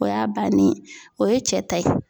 O y'a bannen ye o ye cɛ ta ye.